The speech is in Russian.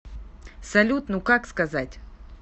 салют ну как сказать